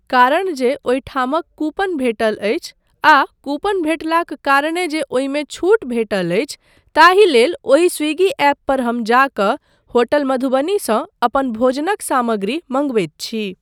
कारण, जे ओहिठामक कूपन भेटल अछि आ कूपन भेटलाक कारणे जे ओहिमे छूट भेटल अछि, ताहिलेल ओहि स्विगी ऐप पर हम जा कऽ होटल मधुबनीसँ अपन भोजनक सामग्री मंगबैत छी।